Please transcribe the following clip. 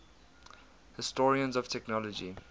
historians of technology